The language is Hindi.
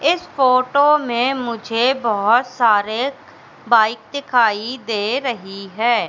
इस फोटो में मुझे बहुत सारे बाइक दिखाई दे रही है।